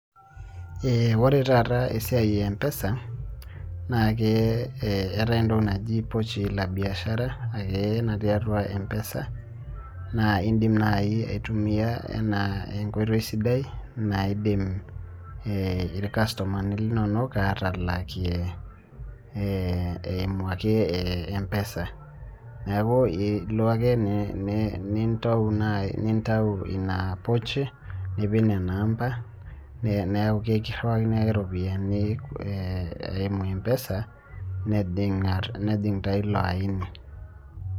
eeh ore taata esiai e mpesa naa kee ee eetae entoki naji pochi la biashara ake natii atua mpesa naa indim naai aitumia enaa enkoitoi sidai naidim eeh irkastomani linonok atalakie eeh eimu ake e mpesa, neeku ilo ake ni ni nitau na nintai ina pochi nipik nena amba neeku ekiriwakini ake ropiani eeh eimu mpesa nejing atua taa ilo aini.